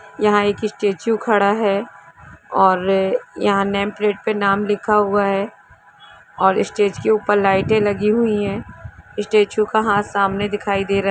यहां एक स्टेच्यू खड़ा है और यहां नेम प्लेट पे नाम लिखा हुआ है और स्टेज के ऊपर लाइटे लगी हुई हैस्टेच्यू का हाथ सामने दिखाई--